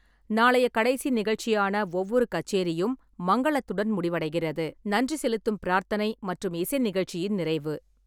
நாளைய கடைசி நிகழ்ச்சியான ஒவ்வொரு கச்சேரியும் மங்களத்துடன் முடிவடைகிறது. நன்றி செலுத்தும் பிரார்த்தனை மற்றும் இசை நிகழ்ச்சியின் நிறைவு.